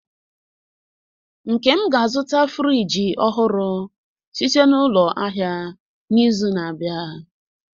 Nkem ga-azụta frijii ọhụrụ site na n'ulo ahịa n'izu na-abịa.